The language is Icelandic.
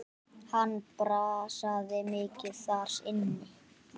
Hann brasaði mikið þar inni.